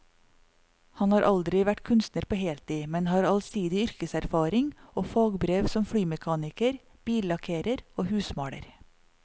Han har aldri vært kunstner på heltid, men har allsidig yrkeserfaring og fagbrev som flymekaniker, billakkerer og husmaler.